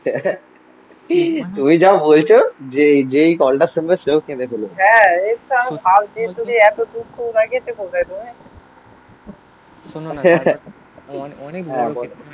তুমি যা বলছো যেই যেই কলটা শুনবে সেও কেঁদে ফেলো